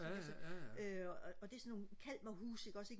øh og det er sådan nogle kalmerhuse ikke også ikke